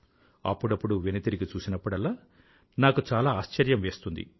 అప్పుడప్పుడు వెనుతిరిగి చూసినప్పుడల్లా నాకు చాలా ఆశ్చర్యం వేస్తుంది